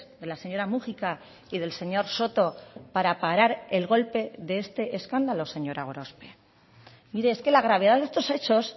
de la señora múgica y del señor soto para parar el golpe de este escándalo señora gorospe mire es que la gravedad de estos hechos